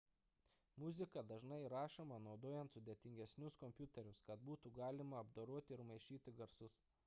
muzika dažnai įrašoma naudojant sudėtingesnius kompiuterius kad būtų galima apdoroti ir maišyti garsus